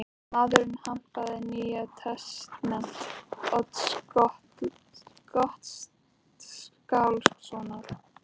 Maðurinn hampaði Nýja testamenti Odds Gottskálkssonar.